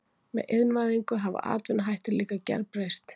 Með iðnvæðingu hafa atvinnuhættir líka gerbreyst.